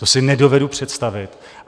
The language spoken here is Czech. To si nedovedu představit.